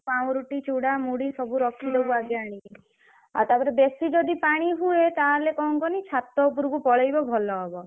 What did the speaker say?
ପାଉଁରୁଟି ଚୂଡା ମୁଡି ସବୁ ରଖିଦବୁ ଆଗେ ଆଣିକି ଆଉ ତାପରେ ବେଶୀ ଯଦି ପାଣି ହୁଏ ତାହେଲେ ଙ୍କ କହନି ଛାତ ଉପରକୁ ପଳେଇବ ଭଲ ହବ।